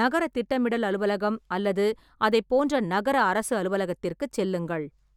நகர திட்டமிடல் அலுவலகம் அல்லது அதைப் போன்ற நகர அரசு அலுவலகத்திற்குச் செல்லுங்கள்.